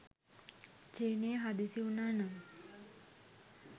චීනය හදිසි වුණා නම්